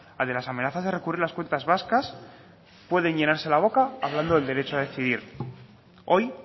al de las amenazas de recurrir las cuentas vascas pueden llenarse la boca hablando del derecho a decidir hoy